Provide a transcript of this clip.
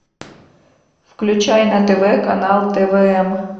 включай на тв канал твм